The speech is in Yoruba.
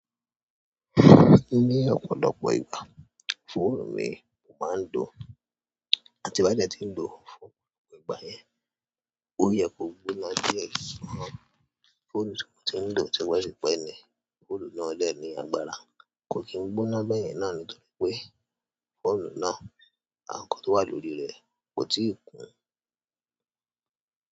Ní ọ̀pọ̀lọpọ̀ ìgbà, fóònù mi kò máa ń dọ̀, àti bá jẹ tí ń dọ̀ fún ọ̀pọ̀ ìgbà yẹn, ó yẹ kó gbóná díẹ̀. Fóònù tí mò ń dọ̀ típé típé ní, fóònù náà lẹ́ẹ̀ní agbára kò kí n gbóná bẹ́ẹ̀ yẹn náà nítorí pé fóònù náà, àwọn nǹkan tó wà lórí rẹ̀ kò tíì kún.